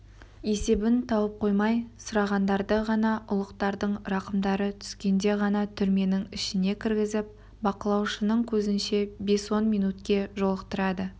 есебін тауып қоймай сұрағандарды ғана ұлықтардың рақымдары түскенде ғана түрменің ішіне кіргізіп бақылаушының көзінше бес-он минутке жолықтырады